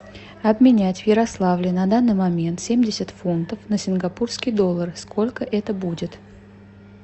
обменять в ярославле на данный момент семьдесят фунтов на сингапурские доллары сколько это будет